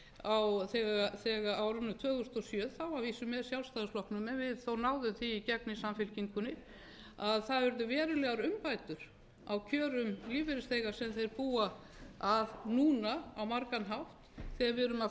á árunum tvö þúsund og sjö þá að vísu með sjálfstæðisflokknum og við náðum því í gegn í samfylkingunni að það urðu verulegar umbætur á kjörum lífeyrisþega sem þeir búa núna á margan hátt þegar við erum að